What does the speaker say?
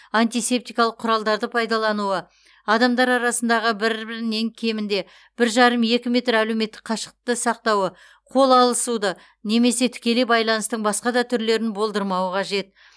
антисептикалық құралдарды пайдалануы адамдар арасында бір бірінен кемінде бір жарым екі метр әлеуметтік қашықтықты сақтауы қол алысуды немесе тікелей байланыстың басқа да түрлерін болдырмауы қажет